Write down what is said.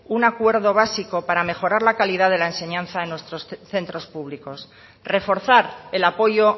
un acuerdo básico para mejorar la calidad de la enseñanza en nuestros centros públicos reforzar el apoyo